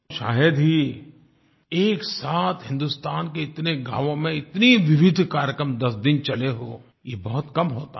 शायद ही एक साथ हिन्दुस्तान के इतने गाँवों में इतने विविध कार्यक्रम 10 दिन चले हों ये बहुत कम होता है